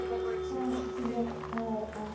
a a šupilego ao a